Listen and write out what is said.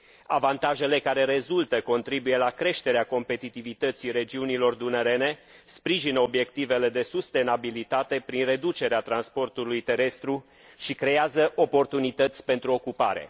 Avantajele care rezultă contribuie la creșterea competitivității regiunilor dunărene, sprijină obiectivele de sustenabilitate prin reducerea transportului terestru și creează oportunități pentru ocupare.